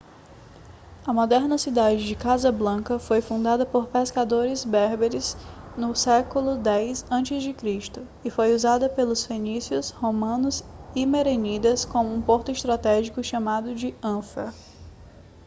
a moderna cidade de casablanca foi fundada por pescadores berberes no século 10 a.c. e foi usada pelos fenícios romanos e merenidas como um porto estratégico chamado de anfa